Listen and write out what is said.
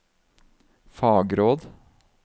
fagråd